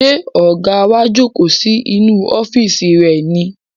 Ṣé ọ̀gá wa jókòó sí inú ọ́fíìsì rẹ̀ ni?